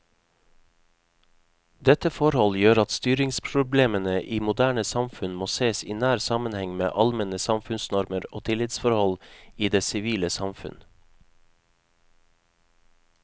Dette forhold gjør at styringsproblemene i moderne samfunn må sees i nær sammenheng med allmenne samfunnsnormer og tillitsforhold i det sivile samfunn.